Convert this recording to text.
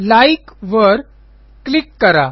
like वर click करा